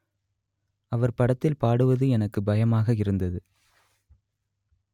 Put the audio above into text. அவர் படத்தில் பாடுவது எனக்கு பயமாக இருந்தது